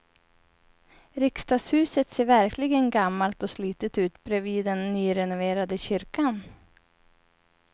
Riksdagshuset ser verkligen gammalt och slitet ut bredvid den nyrenoverade kyrkan.